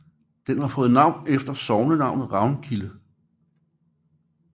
Den har fået navn efter sognenavnet Ravnkilde